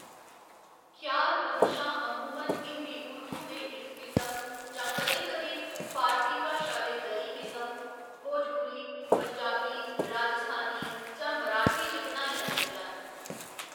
ख्याल बंदशां अमूमन हिंदी उर्दू दे इक किसम जां कदें कदें फारसी भाशा दे दरी किसम, भोजपुरी, पंजाबी, राजस्थानी जां मराठी च बनाइयां जंदियां न।